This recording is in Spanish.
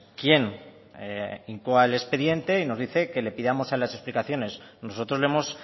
quién incoa el expediente y nos dice que le pidamos las explicaciones nosotros le hemos